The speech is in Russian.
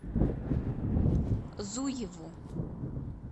зуеву